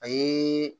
A ye